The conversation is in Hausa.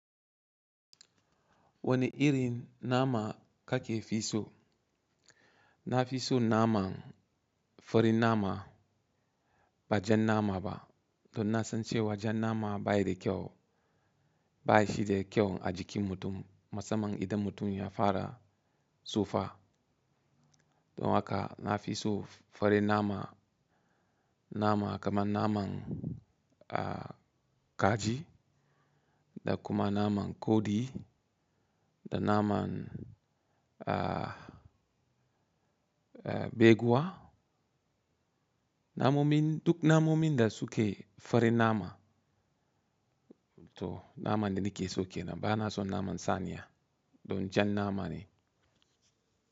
Wani irin nama kake fi so? Na fi so naman farin nama ba jan nama ba. Don na san cewa jan nama ba shi da kyau a jikin mutum musamman idan mutum ya fara tsufa. Don haka na fi so farin nama, nama kaman naman kaji da kuma naman kodi da naman beguwa. Duk namomin da suke farin nama. To naman da nike so kenan bana son naman saniya don jan nama ne.